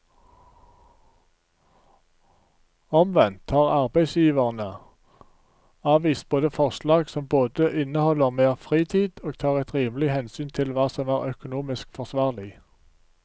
Omvendt har arbeidsgiverne avvist våre forslag som både inneholder mer fritid og tar et rimelig hensyn til hva som er økonomisk forsvarlig.